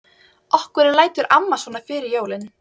Af hverju lætur amma svona fyrir jólin?